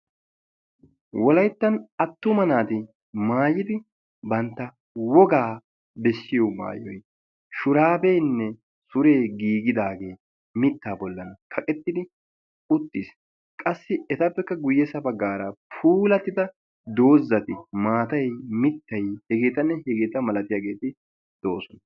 wolayttan attuma naati maayidi bantta wogaa bessiyo maayoy shuraabeenne suree giigidaagee mittaa bollan kaqettidi uttiis. qassi etappekka guyyessa baggaara pulatida doozati maatay mittay hegeetanne hegeeta malatiyaageeti do7oosona.